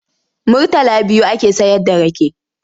Murtala biyu ake sayarda rake.